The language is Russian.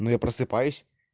ну я просыпаюсь